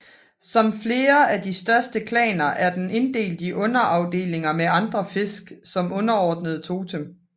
Som flere af de største klaner er den inddelt i underafdelinger med andre fisk som underordnede totem